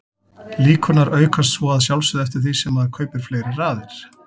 Líkurnar aukast svo að sjálfsögðu eftir því sem maður kaupir fleiri raðir.